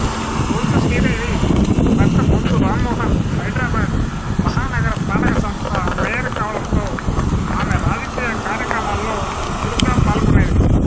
బొంతు శ్రీదేవి భర్త బొంతు రామ్మోహన్ హైదరాబాదు మహానగరపాలక సంస్థ మేయర్ కావడంతో ఆమె రాజకీయ కార్యక్రమాల్లో చురుగ్గా పాల్గొనేది